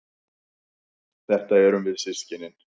Þetta erum við systkinin.